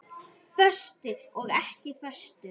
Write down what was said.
Föstu og ekki föstu.